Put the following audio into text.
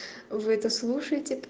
вы это слушаете да